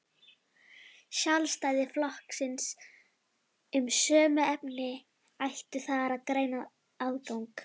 Sjálfstæðisflokksins um sömu efni ættu þar greiðan aðgang.